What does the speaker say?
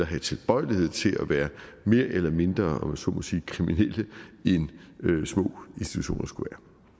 have tilbøjelighed til at være mere eller mindre om jeg så må sige kriminelle end små institutioner skulle